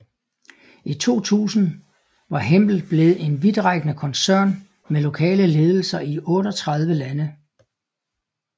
I 2000 var Hempel blevet en vidtrækkende koncern med lokale ledelser i 38 lande